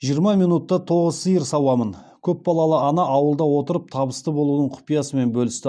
жиырма минутта тоғыз сиыр сауамын көпбалалы ана ауылда отырып табысты болудың құпиясымен бөлісті